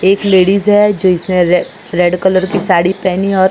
एक लेडीज है जो इसमें रेड कलर की साड़ी पहनी है और--